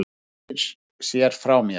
Hann snýr sér frá mér.